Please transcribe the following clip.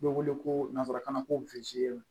Bɛ wele ko nanzarakan na ko